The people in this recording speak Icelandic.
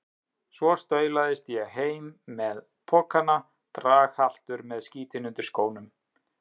Svo staulaðist ég heim með pokana, draghaltur með skítinn undir skónum.